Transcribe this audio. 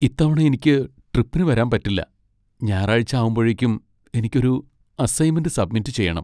ഇത്തവണ എനിക്ക് ട്രിപ്പിന് വരാൻ പറ്റില്ല. ഞായറാഴ്ച ആവുമ്പഴേക്കും എനിക്ക് ഒരു അസൈൻമെന്റ് സബ്മിറ്റ് ചെയ്യണം.